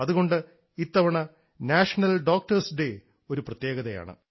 അതുകൊണ്ട് ഇത്തവണ national doctors day ഒരു പ്രത്യേകതയാണ്